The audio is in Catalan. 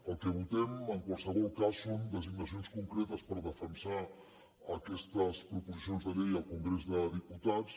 el que votem en qualsevol cas són designacions concretes per defensar aquestes proposicions de llei al congrés dels diputats